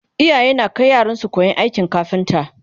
iyaye na Kai yaransu koyan kafinta